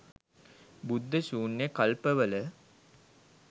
බුද්ධ ශුන්‍ය කල්පවල